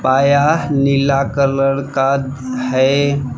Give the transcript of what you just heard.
नीला colour का है।